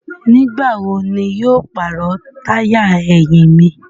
Nigbawo ni yóó paro taya ẹhin mi?